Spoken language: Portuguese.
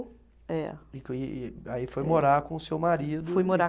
É. E e aí foi morar com o seu marido e.